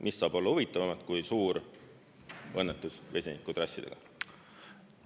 Mis saab olla huvitavamat kui suur õnnetus vesinikutrassidega?!